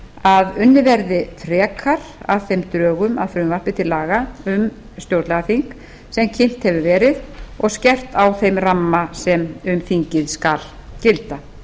að unnið verði frekar að drögum að því frumvarpi til laga um stjórnlagaþing sem kynnt hefur verið og skerpt á þeim ramma sem um þingið skal gilda